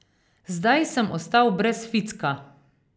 Zdaj sem ostal brez ficka.